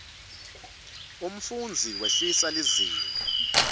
umfundzi wehlisa lizinga